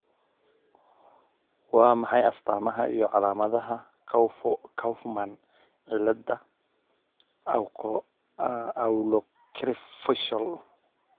Waa maxay astamaha iyo calaamadaha Kaufman cilada oculocerebrofacial ?